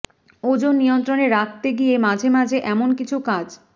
ওজন নিয়ন্ত্রণে রাখতে গিয়ে মাঝে মাঝে এমন কিছু কাজ